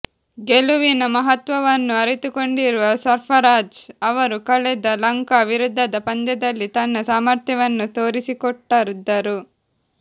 ಗೆಲುವಿನ ಮಹತ್ವವನ್ನು ಅರಿತುಕೊಂಡಿರುವ ಸರ್ಫರಾಝ್ ಅವರು ಕಳೆದ ಲಂಕಾ ವಿರುದ್ಧದ ಪಂದ್ಯದಲ್ಲಿ ತನ್ನ ಸಾಮರ್ಥ್ಯವನ್ನು ತೋರಿಸಿಕೊಟ್ಟದ್ದರು